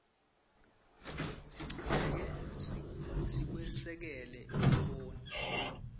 sichubeke nekwesekela imboni